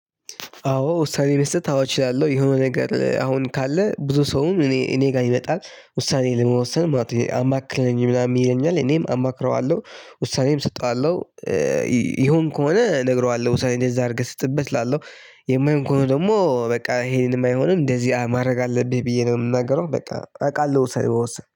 አዎ ውሳኔ መስጠት አችላለሁ የሆነ ነገር አሁን ካለ ብዙ ሰውም እኔ እኔ ጋር ይመጣል ውሳኔ ለመወሰን ማለት ነው አማክረኝ ብላ ይለኛል እኔም አማክረዋለሁ ውሳኔም እሰጠዋለሁ። ይሆን ከሆነ ነግረዋለሁ ሳይን እንደዚህ አድርገህ ስጥበት እላለው። የማይሆን ከሆነ ደግሞ በቃ ይሄንን የማይሆንም እንደዚህ ማድረግ አለብህ ብዬ ነው የምናገረው በቃ አውቃለሁ ወሳኝ